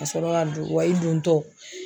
Ka sɔrɔ ka don wa i don tɔ